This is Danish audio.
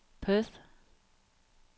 Perth